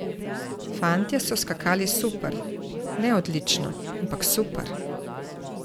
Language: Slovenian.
Fantje so skakali super, ne odlično, ampak super.